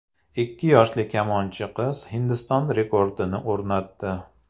Ikki yoshli kamonchi qiz Hindiston rekordini o‘rnatdi.